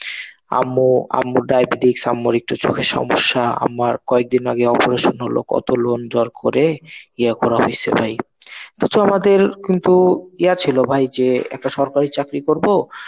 আম্মু~ আম্মু ডায়াবেটিক, সাম্যর একটু চোখের সমস্যা. আমার কয়েকদিন আগে অপারেশন হলো, কত লোন জোর করে ইয়ে করা হয়েছে ভাই. তো আমাদের কিন্তু ইয়ে ছিল ভাই যে একটা সরকারি চাকরি করবো